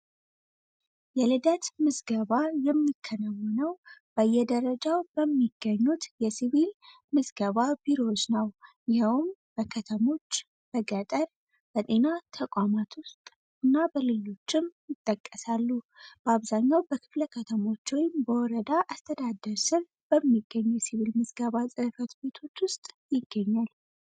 የልደት ምዝገባ የሚከናውነው በየደረጃው በሚገኙት የሲቪክስገባ ቢሮዎች በከተሞች በገጠርና ተቋማት ውስጥ እና በሌሎችም ይጠቀሳሉ በአብዛኛው በክፍለ ከተሞች በወረዳ አስተዳደር ስም በሚገኙት ውስጥ ይገኛል